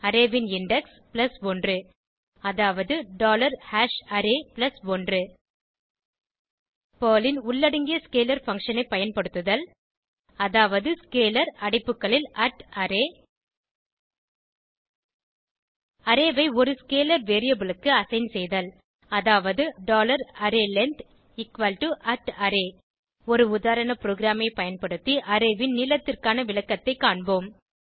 array ன் index 1 அதாவது array 1 Perl ன் உள்ளடங்கிய ஸ்கேலர் பங்ஷன் ஐ பயன்படுத்துதல் அதாவது ஸ்கேலர் அடைப்புகளில் array அரே ஐ ஒரு ஸ்கேலர் வேரியபிள் க்கு அசைன் செய்தல் அதாவது arrayLength array ஒரு உதாரண ப்ரோகிராமை பயன்படுத்தி அரே ன் நீளத்திற்கான விளக்கத்தைக் காண்போம்